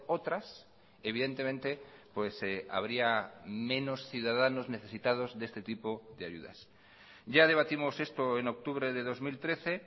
otras evidentemente habría menos ciudadanos necesitados de este tipo de ayudas ya debatimos esto en octubre de dos mil trece